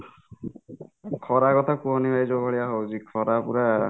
ଖରା କଥା କୁହନି ଭାଇ ଯୋଉ ଭଳିଆ ହଉଛି ଖରା ପୁରା